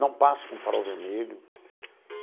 Não passo com farol vermelho.